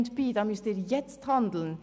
«Airbnb, da müssen Sie jetzt handeln!